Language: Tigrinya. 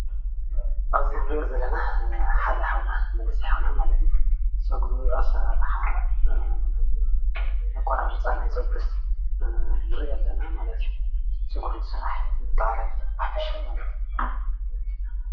ኣብዚ እንሪኦ ዘለና ሓደ ሓውና መንእሰይ ሓውና ማለት እዩ ፀጉሪ ኣሰራርሓ ኣቆራርፃ ናይ ፀጉሪ ንርኢ ኣለና ማለት እዩ፡፡ ፀጉሪ እንስራሕ ብጠቅላላ ብሓፈሻ ማለት እዩ፡፡